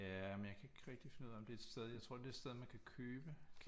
Ja men jeg kan ikke rigtig finde ud af om det er et sted jeg tror det er et sted man kan købe